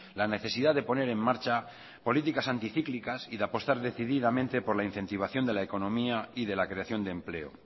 la necesidad de poner en marcha políticas anticíclicas y de apostar decididamente por la incentivación de la economía y de la creación de empleo